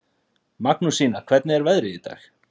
Magnúsína, hvernig er veðrið í dag?